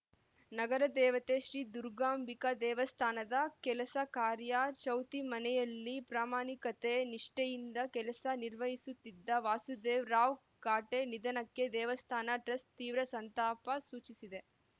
ನಗರ ದೇವತೆ ಶ್ರೀ ದುರ್ಗಾಂಬಿಕಾ ದೇವಸ್ಥಾನದ ಕೆಲಸ ಕಾರ್ಯ ಚೌತಿಮನೆಯಲ್ಲಿ ಪ್ರಾಮಾಣಿಕತೆ ನಿಷ್ಠೆಯಿಂದ ಕೆಲಸ ನಿರ್ವಹಿಸುತ್ತಿದ್ದ ವಾಸುದೇವ ರಾವ್‌ ಖಾಟೆ ನಿಧನಕ್ಕೆ ದೇವಸ್ಥಾನ ಟ್ರಸ್ಟ್‌ ತೀವ್ರ ಸಂತಾಪ ಸೂಚಿಸಿದೆ